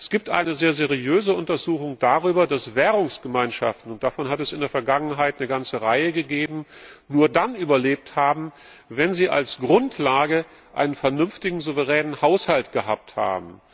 Es gibt eine sehr seriöse Untersuchung darüber, dass Währungsgemeinschaften und davon hat es in der Vergangenheit eine ganze Reihe gegeben nur dann überlebt haben, wenn sie als Grundlage einen vernünftigen souveränen Haushalt gehabt haben.